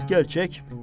Pək gerçək.